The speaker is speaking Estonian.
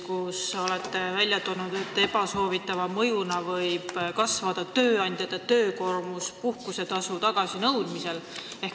Te olete välja toonud, et ebasoovitava mõjuna võib kasvada tööandjate töökoormus puhkusetasu tagasinõudmisel.